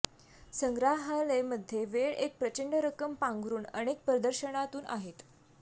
संग्रहालय मध्ये वेळ एक प्रचंड रक्कम पांघरूण अनेक प्रदर्शनातून आहेत